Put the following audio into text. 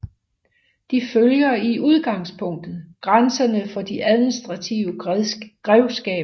De følger i udgangspunktet grænserne for de administrative grevskaber